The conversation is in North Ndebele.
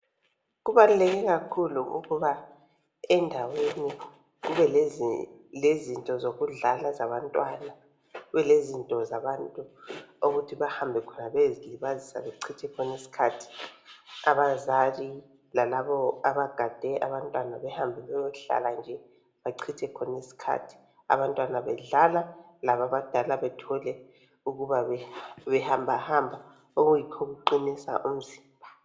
Kubaluleke kakhulu ukuba endaweni, kubelezinto zokudlala ezabantwana. Kubelezinto zabantu, okuthi bahambe khona, bayezilibazisa. Bechithe khona isikhathi. Abazali lalabo abagade abantwana. Behambe bayechitha khona isikhathi. Abantwana bedlala, abazali behambahamba nje okuyikho okuqinisa umzimba.